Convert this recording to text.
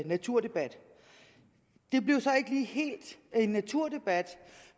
naturdebat det blev så ikke helt en naturdebat